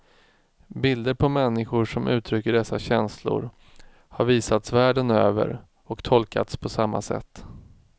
Bilder på människor som uttrycker dessa känslor har visats världen över och tolkats på samma sätt.